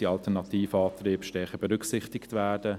die alternativen Antriebe sollten stärker berücksichtigt werden.